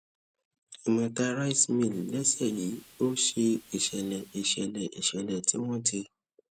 imota rice mill lẹsẹ yìí ó ṣe ìṣẹlẹ ìṣẹlẹ ìṣẹlẹ tí wọn ti